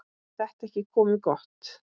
Er þetta ekki komið gott?